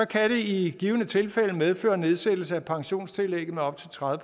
kan det i givet fald medføre nedsættelse af pensionstillægget med op til tredive